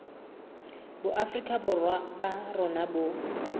boafrika borwa ba rona bo